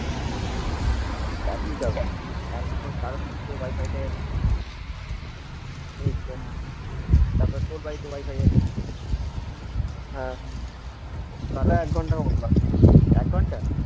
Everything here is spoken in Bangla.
এক নম্বর কারণ হচ্ছে ওয়াইফাই টা এলো আচ্ছা হ্যাঁ তারপরে তোর বাড়িতে ওয়াইফাই এল হ্যাঁ হুম তারপর এক ঘন্টা মত লাগলো এক ঘন্টা